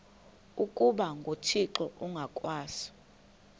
ukuba nguthixo ngokwaso